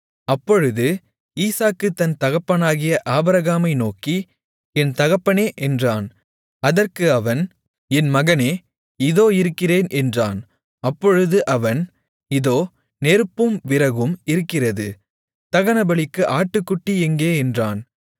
அப்பொழுது ஈசாக்கு தன் தகப்பனாகிய ஆபிரகாமை நோக்கி என் தகப்பனே என்றான் அதற்கு அவன் என் மகனே இதோ இருக்கிறேன் என்றான் அப்பொழுது அவன் இதோ நெருப்பும் விறகும் இருக்கிறது தகனபலிக்கு ஆட்டுக்குட்டி எங்கே என்றான்